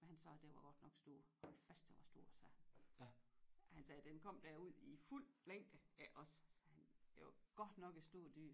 Men han sagde at den var godt nok stor hold fast den var stor sagde han han sagde at den kom derud i fuld længde iggås sagde han sagde det var godt nok et stort dyr